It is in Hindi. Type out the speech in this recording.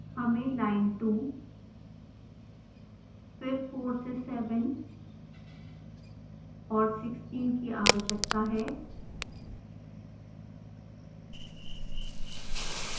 हमें लाइन 2 फिर 4 से7 और 16 की आवश्यकता है